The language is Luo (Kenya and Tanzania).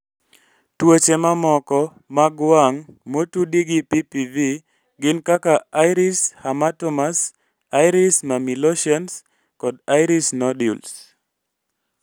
Tuoche mamoko mag wang' motudi gi PPV gin kaka iris hamartomas, iris mammillations, kod iris nodules.